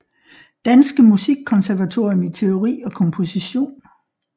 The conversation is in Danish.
Danske Musikkonservatorium i teori og komposition